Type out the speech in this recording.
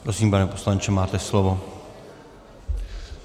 Prosím, pane poslanče, máte slovo.